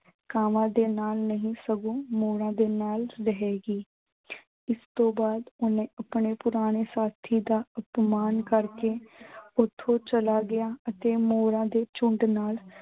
ਕਾਵਾਂ ਦੇ ਨਾਲ ਨਹੀਂ ਸਗੋਂ ਮੋਰਾਂ ਦੇ ਨਾਲ ਰਹੇਗੀ। ਇਸ ਤੋਂ ਬਾਅਦ ਓਹਨੇ ਆਪਣੇ ਪੁਰਾਣੇ ਸਾਥੀ ਦਾ ਅਪਮਾਨ ਕਰਕੇ ਓਥੋਂ ਚਲਾ ਗਿਆ ਅਤੇ ਮੋਰਾਂ ਦੇ ਚੁੰਡ ਨਾਲ